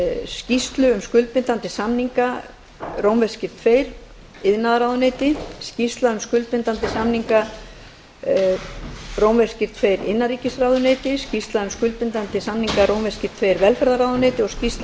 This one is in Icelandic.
skýrslu um skuldbindandi samninga tvö iðnaðarráðuneyti skýrslu um skuldbindandi samninga tvö innanríkisráðuneyti skýrslu um skuldbindandi samninga tvö velferðarráðuneyti og skýrslu